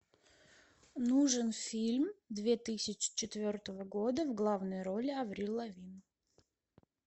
нужен фильм две тысячи четвертого года в главной роли аврил лавин